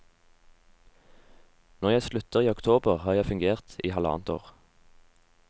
Når jeg slutter i oktober, har jeg fungert i halvannet år.